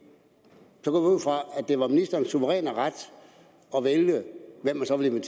det var ministerens suveræne ret at vælge hvem man så ville